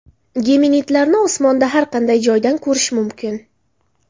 Geminidlarni osmonda har qanday joydan ko‘rish mumkin.